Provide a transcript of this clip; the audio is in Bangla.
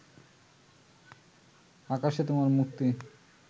আকাশে তোমার মুক্তি